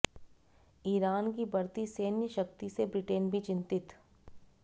Iran की बढ़ती सैन्य शक्ति से ब्रिटेन भी चिंतित